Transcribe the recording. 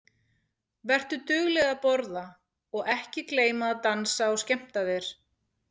Vertu dugleg að borða og ekki gleyma að dansa og skemmta þér.